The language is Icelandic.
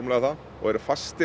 og eru fastir